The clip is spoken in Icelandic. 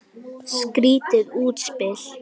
Skrýtið útspil.